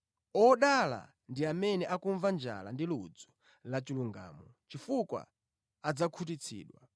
Odala ndi amene akumva njala ndi ludzu la chilungamo, chifukwa adzakhutitsidwa.